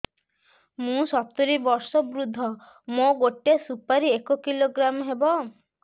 ମୁଁ ସତୂରୀ ବର୍ଷ ବୃଦ୍ଧ ମୋ ଗୋଟେ ସୁପାରି ଏକ କିଲୋଗ୍ରାମ ହେବ